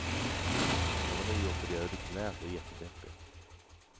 Jag var nyopererad i knät och jättedeppig.